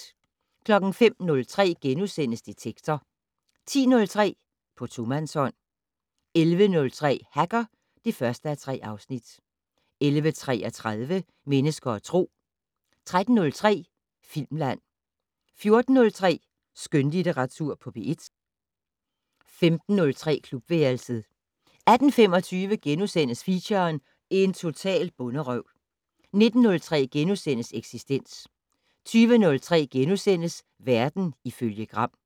05:03: Detektor * 10:03: På tomandshånd 11:03: Hacker (1:3) 11:33: Mennesker og Tro 13:03: Filmland 14:03: Skønlitteratur på P1 15:03: Klubværelset 18:25: Feature: En total bonderøv * 19:03: Eksistens * 20:03: Verden ifølge Gram *